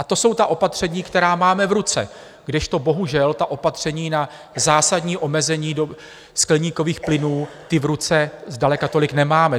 A to jsou ta opatření, která máme v ruce, kdežto bohužel ta opatření na zásadní omezení skleníkových plynů, ta v ruce zdaleka tolik nemáme.